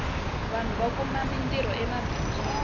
vanhu va kuma mintirho emabindzwini